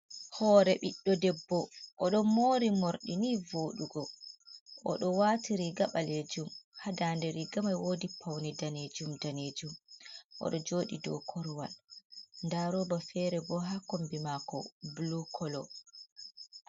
Hore ɓiɗɗo debbo, oɗon mori morɗi ni voɗugo. Oɗo wati riga ɓalejum, ha dande rigaman wodi paune danejum danejum. Oɗo joɗi do korowal. Nda roba fere bo ha kombi mako bulu kolo.